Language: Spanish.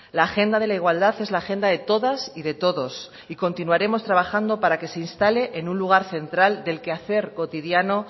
la agenda de la igualdad es la agenda de todas y de todos y continuaremos trabajando para que se instale en un lugar central del quehacer cotidiano